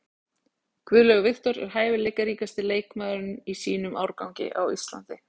Guðlaugur Victor er hæfileikaríkasti leikmaðurinn í sínum árgangi á Íslandi.